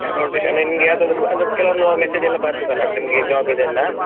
ಈಗ ನೋಡ್ಬೇಕು ಅಂದ್ರೆ ನಿಮ್ಗೆ ಯಾವದಾದ್ರು ಅಂದ್ರೆ ಕೆಲವೊಂದು message ಎಲ್ಲ ಬರ್ತದಲ್ಲ ಅಂದ್ರೆ ನಿಮ್ಗೆ job ಇದ್ದು ಎಲ್ಲಾ.